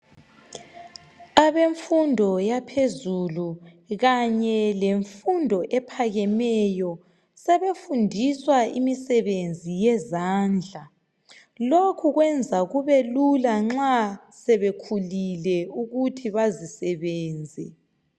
Abemfundo yaphezulu kanye lefundo ephakameyo sebefundiswa imisebenzi yezandla lokhu kwenza kube lula nxa sebekhulile ukuthi bazisebenza.